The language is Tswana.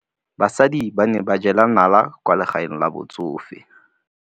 Basadi ba ne ba jela nala kwaa legaeng la batsofe.